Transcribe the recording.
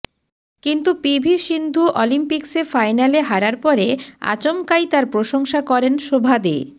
কিন্তু P V Sindhu অলিম্পিক্সে ফাইনালে হারার পরে আচমকাই তাঁর প্রশংসা করেন শোভা দে